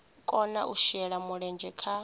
kona u shela mulenzhe kha